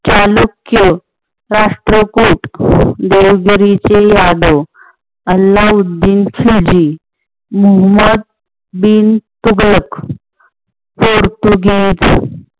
चालुक्य, राष्ट्रकुट, देवगरीचे यादव अल्लाह उद्दीन खिल्जी, मोहोम्मद बिन तुघलक, पोर्तुगीज